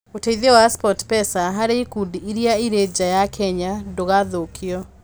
Ũteithio wa SportPesa harĩ ikundi iria irĩ nja ya Kenya ndũgathũkio.